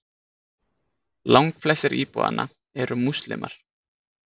Langflestir íbúanna eru múslímar.